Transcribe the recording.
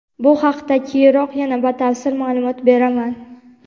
Bu haqida keyinroq yana batafsil ma’lumot beraman.